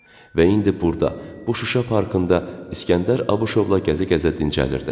Və indi burda, bu Şuşa parkında İskəndər Abuşovla gəzə-gəzə dincəlirdi.